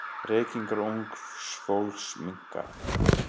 Reykingar ungs fólks minnka.